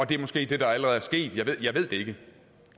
det er måske det der allerede er sket jeg ved det ikke